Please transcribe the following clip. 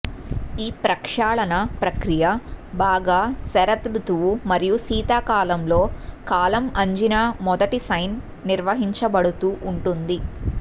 ఈ ప్రక్షాళన ప్రక్రియ బాగా శరదృతువు మరియు శీతాకాలంలో కాలం ఆంజినా మొదటి సైన్ నిర్వహింపబడుతూ ఉంటుంది